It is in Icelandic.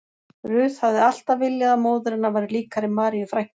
Ruth hafði alltaf viljað að móðir hennar væri líkari Maríu frænku